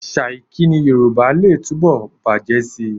Àṣà ìkíni Yorùbá lè túbọ̀ bàjẹ́ síi